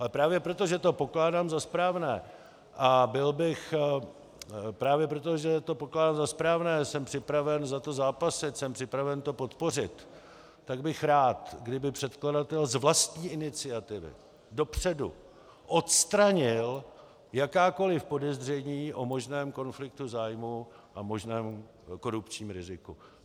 Ale právě proto, že to pokládám za správné, jsem připraven za to zápasit, jsem připraven to podpořit, tak bych rád, kdyby předkladatel z vlastní iniciativy dopředu odstranil jakákoliv podezření o možném konfliktu zájmů a možném korupční riziku.